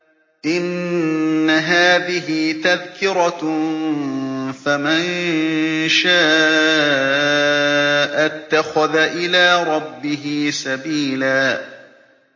إِنَّ هَٰذِهِ تَذْكِرَةٌ ۖ فَمَن شَاءَ اتَّخَذَ إِلَىٰ رَبِّهِ سَبِيلًا